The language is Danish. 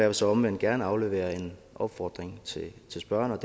vil så omvendt gerne aflevere en opfordring til spørgeren